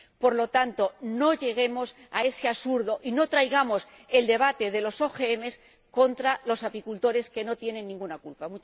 Por lo tanto, no lleguemos a ese absurdo y no traigamos el debate de los OMG contra los apicultores, que no tienen ninguna culpa.